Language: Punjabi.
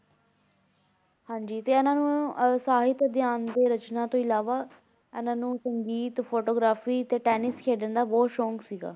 ਹਾਂਜੀ ਤੇ ਇਹਨਾਂ ਨੂੰ ਅਹ ਸਾਹਿਤ ਅਧਿਐਨ ਤੇ ਰਚਨਾ ਤੋਂ ਇਲਾਵਾ ਇਹਨਾਂ ਨੂੰ ਸੰਗੀਤ photography ਅਤੇ ਟੈਨਿਸ ਖੇਡਣ ਦਾ ਬਹੁਤ ਸ਼ੌਂਕ ਸੀਗਾ।